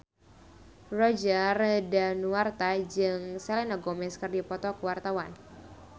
Roger Danuarta jeung Selena Gomez keur dipoto ku wartawan